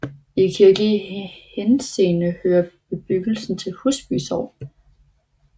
I kirkelig henseende hører bebyggelsen til Husby Sogn